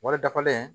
Wari dafalen